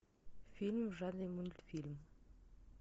фильм в жанре мультфильм